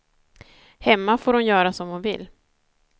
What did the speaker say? Hemma får hon göra som hon vill.